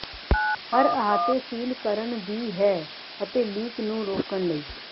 ਹਰ ਅਹਾਤੇ ਸੀਲ ਕਰਨ ਦੀ ਹੈ ਅਤੇ ਲੀਕ ਨੂੰ ਰੋਕਣ ਲਈ